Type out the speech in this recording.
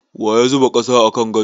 Waya zuba ƙasa a kan gado?